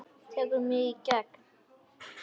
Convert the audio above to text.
Tekur mig í gegn.